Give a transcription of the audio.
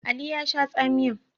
Ali ya sha tsamiyan.